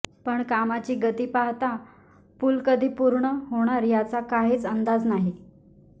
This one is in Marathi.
पण कामाची गती पाहता पूल कधी पूर्ण होणार याचा काहीच अंदाज नाही